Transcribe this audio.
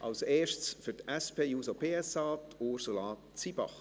Als Erstes für die SP-JUSOPSA, Ursula Zybach.